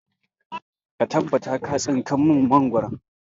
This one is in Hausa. Ka tabbata ka tsinka mun mangoro!